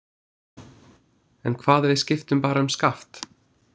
En hvað ef við skiptum bara um skaft?